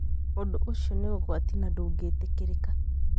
Ũndũ ũcio nĩ ũgwati na ndũngĩtĩkĩrĩka.